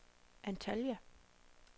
Antalya